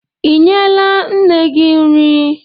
Ị nyela nne gị nri?